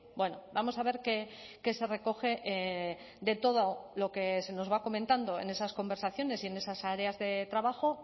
bueno vamos a ver qué se recoge de todo lo que se nos va comentando en esas conversaciones y en esas áreas de trabajo